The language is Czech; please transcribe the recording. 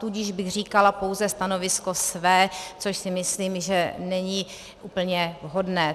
Tudíž bych říkala pouze stanovisko své, což si myslím, že není úplně vhodné.